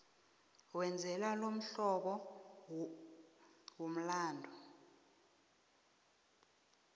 wenze lomhlobo womlandu